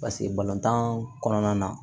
Paseke balontan kɔnɔna na